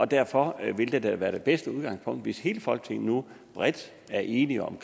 derfor vil det da være det bedste udgangspunkt hvis hele folketinget nu bredt er enige om